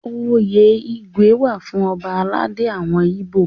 Oyè Igwe wà fún ọba aládé àwọn Ibo.